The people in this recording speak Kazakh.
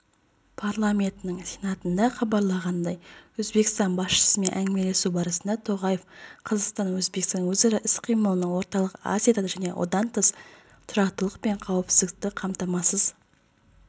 парламентінің сенатында хабарлағандай өзбекстан басшысымен әңгімелесу барысында тоқаев қазақстан-өзбекстан өзара іс-қимылының орталық азияда және одан тыс тұрақтылық пен қауіпсіздікті қамтамасыз